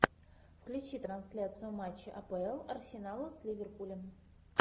включи трансляцию матча апл арсенала с ливерпулем